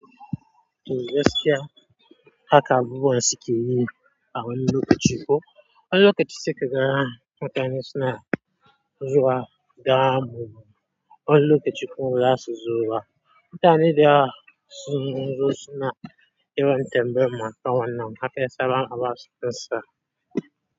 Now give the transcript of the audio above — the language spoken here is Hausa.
Tuh gasikya haka abubuwan sukeyi a wani lukaci kuh. Wani lukaci sai kaga mutane suna zuwa dama. Wani lukaci kuma baxasuzo ba. Mutane da yawa sunzo suna yawan tambayamu akan wannan Haka yesaba haba sunsa.